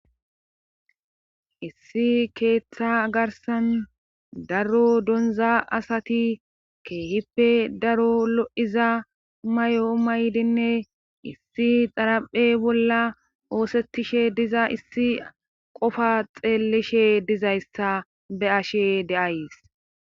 issi keeththa garsan daro donza asati keehippe daro lo7iza may7o maydinne issi xaraphe bolla oosettishe diza issi qofa xeellishe dizayssa be ashe deays